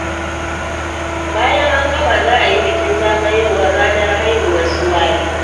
Bayan an gama, za a yi bikin zagayowar ranar haihuwar su Wali.